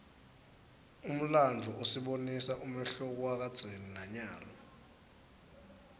umlandvo usibonisa umehluko wakadzeni nanyalo